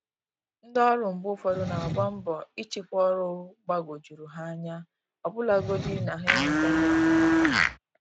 Ndị ọrụ mgbe ụfọdụ n'agba mbọ ịchịkwa ọrụ gbagoo jụrụ ha anya, ọbụlagodi na ha enwetaghị enyemaka